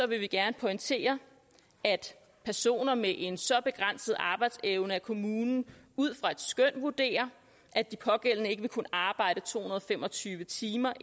vi gerne pointere at personer med en så begrænset arbejdsevne at kommunen ud fra et skøn vurderer at de pågældende ikke vil kunne arbejde to hundrede og fem og tyve timer